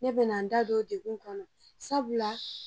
Ne be na n da don dekun kɔnɔ sabula